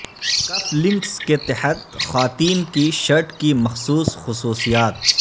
کف links کے تحت خواتین کی شرٹ کی مخصوص خصوصیات